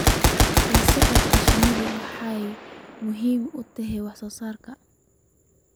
La socodka shinnidu waxay muhiim u tahay wax soo saarka.